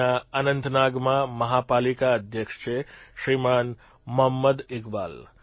ત્યાં અનંતનાગમાં મહાપાલિકા અધ્યક્ષ છે શ્રીમાન મોહંમદ ઇકબાલ